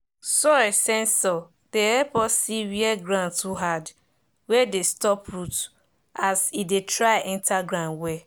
soil sensor dey help us see where ground too hard wey dey stop root as e dey try enter ground well.